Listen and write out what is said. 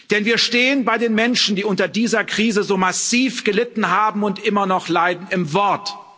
Denn wir stehen bei den Menschen, die unter dieser Krise so massiv gelitten haben und immer noch leiden, im Wort.